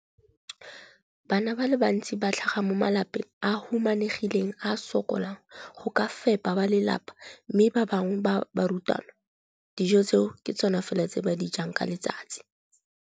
Bana ba le bantsi ba tlhaga mo malapeng a a humanegileng a a sokolang go ka fepa ba lelapa mme ba bangwe ba barutwana, dijo tseo ke tsona fela tse ba di jang ka letsatsi.